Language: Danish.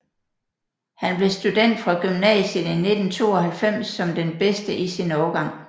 Han blev student fra gymnasiet i 1992 som den bedste i sin årgang